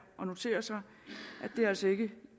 at notere sig at det altså ikke